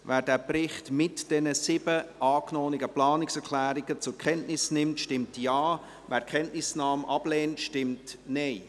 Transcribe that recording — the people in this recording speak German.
Wer den Bericht mit den sieben angenommenen Planungserklärungen zur Kenntnis nimmt, stimmt Ja, wer die Kenntnisnahme ablehnt, stimmt Nein.